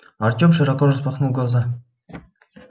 артем широко распахнул глаза